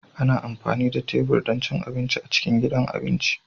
Ana amfani da tebur don cin abinci a cikin gidan abinci